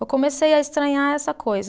Eu comecei a estranhar essa coisa.